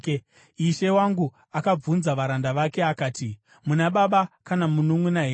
Ishe wangu akabvunza varanda vake akati, ‘Muna baba kana mununʼuna here?’